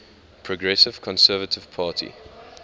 progressive conservative party